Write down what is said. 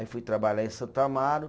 Aí fui trabalhar em Santo Amaro.